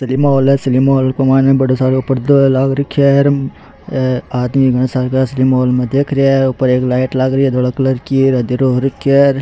Cinema hall है cinema hall के मायने बड़ो सारो पर्दो है लाग रखयो है हे आदमी घना सार का सिनिमा हॉल में देख रिया है ऊपर एक लाइट लाग रही है धोला कलर की अंधेरो हो रखयो है।